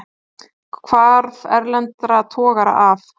Hvarf erlendra togara af